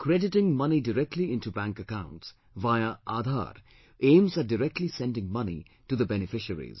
Crediting money directly into bank accounts via Aadhar aims at directly sending money to the beneficiaries